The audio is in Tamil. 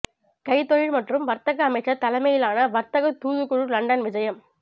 கைத்தொழில் மற்றும் வர்த்தக அமைச்சர் தலைமையிலான வர்த்தக தூதுக்குழு லண்டன் விஜயம்